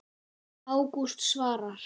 Ágúst Svavar.